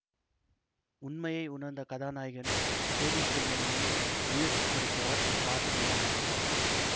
உண்மையை உணர்ந்து கதாநாயகன் தேடி செல்லும் முன் உயிர் துறக்கிறார் அந்த பாசமுள்ள மாமனார்